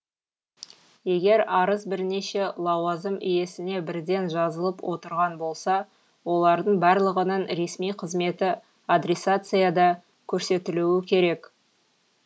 егер арыз бірнеше лауазым иесіне бірден жазылып отырған болса олардың барлығының ресми қызметі адресацияда қөрсетілуі қерек